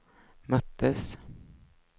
möttes